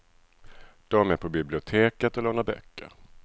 De är på biblioteket och lånar böcker.